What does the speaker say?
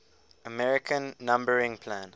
american numbering plan